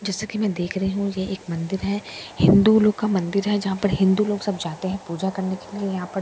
जैसा की मैं देख रही हूँ यह एक मंदिर है हिन्दू लोग का मंदिर है यहां पर हिन्दू लोग सब जाते हैं पूजा करने के लिए यहाँ पर बाहर के --